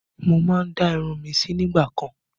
Mo má ń dá irun mi sí nígbà kan